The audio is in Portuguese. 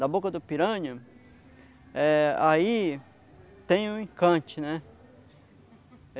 na boca do piranha, eh aí tem um encante, né?